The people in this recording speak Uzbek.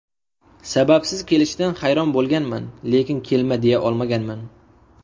Sababsiz kelishidan hayron bo‘lganman, lekin kelma, deya olmaganman.